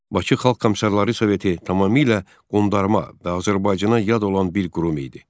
Bakı Xalq Komissarları Soveti tamamilə qondarma və Azərbaycana yad olan bir qurum idi.